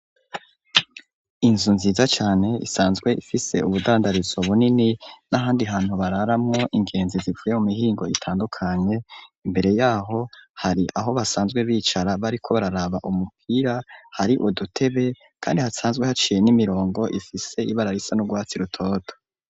Inzu nziza cane isanzwe ifise ubudandarizo bunini n'ahandi hantu bararamwo ingenzi zivuye mu mihingo itandukanye imbere yaho hari aho basanzwe bicara bariko bararaba umupira hari udutebe kandi hasanzwe haciye n'imirongo ifise ibara risa n'urwatsi rutoto.